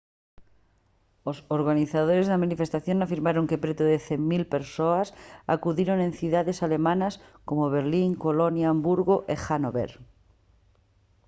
os organizadores da manifestación afirmaron que preto de 100 000 persoas acudiron en cidades alemás como berlín colonia hamburgo e hanover